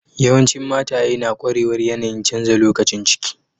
Yawancin mataye na kwarewar yanayi'n canza lokacin ciki.